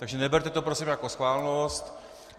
Takže neberte to prosím jako schválnost.